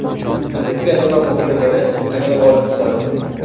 Bizga nima muhimligini anglab olishimiz zarur.